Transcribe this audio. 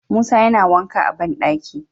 Musa yana wanka a banɗaki